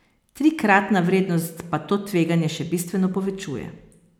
Trikratna vrednost pa to tveganje še bistveno povečuje.